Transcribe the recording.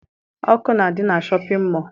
Ọkụ na-adị na shọpịn mọọ